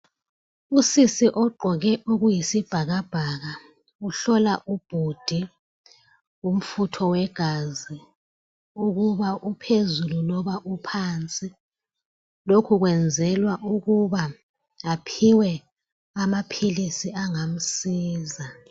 Usisi ogqoke okuyisibhakabhaka uhlola ubhudi umfutho wegazi ukuba uphezulu loba uphansi. Lokhu kwenzelwa ukuba aphiwe amaphilisi angamsiza.